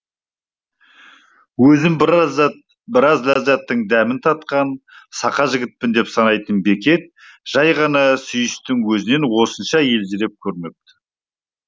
өзін біраз өзін біраз ләззаттың дәмін татқан сақа жігітпін деп санайтын бекет жай ғана сүйістің өзінен осынша елжіреп көрмепті